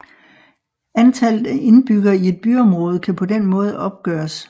Antallet af indbyggere i et byområde kan på den måde opgøres